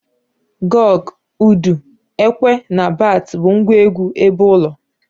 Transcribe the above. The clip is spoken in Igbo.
Goge, udu, ekwe na bats bu ngwa egwu ebeulo.